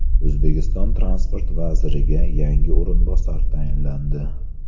O‘zbekiston transport vaziriga yangi o‘rinbosar tayinlandi.